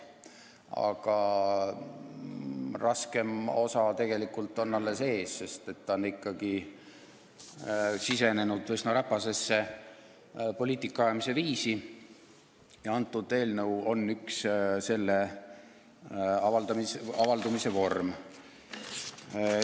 Aga raskem osa on tegelikult alles ees, sest ta on ikkagi sisenenud üsna räpasesse poliitika ajamise viisi ja see eelnõu on üks selle avaldumise vorme.